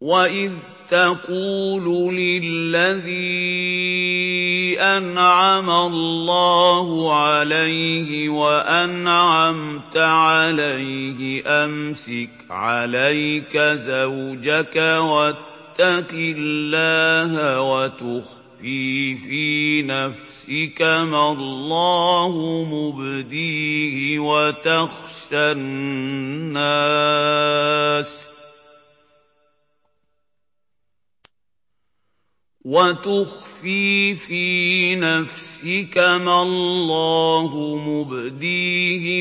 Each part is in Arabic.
وَإِذْ تَقُولُ لِلَّذِي أَنْعَمَ اللَّهُ عَلَيْهِ وَأَنْعَمْتَ عَلَيْهِ أَمْسِكْ عَلَيْكَ زَوْجَكَ وَاتَّقِ اللَّهَ وَتُخْفِي فِي نَفْسِكَ مَا اللَّهُ مُبْدِيهِ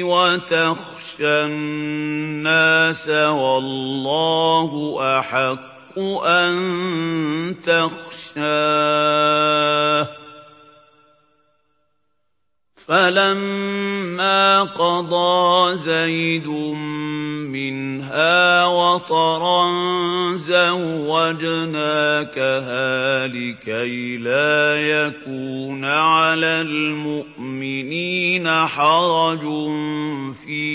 وَتَخْشَى النَّاسَ وَاللَّهُ أَحَقُّ أَن تَخْشَاهُ ۖ فَلَمَّا قَضَىٰ زَيْدٌ مِّنْهَا وَطَرًا زَوَّجْنَاكَهَا لِكَيْ لَا يَكُونَ عَلَى الْمُؤْمِنِينَ حَرَجٌ فِي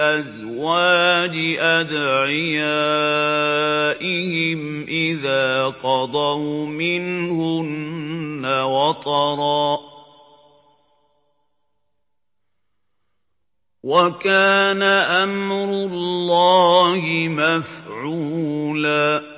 أَزْوَاجِ أَدْعِيَائِهِمْ إِذَا قَضَوْا مِنْهُنَّ وَطَرًا ۚ وَكَانَ أَمْرُ اللَّهِ مَفْعُولًا